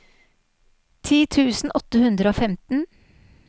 ti tusen åtte hundre og femten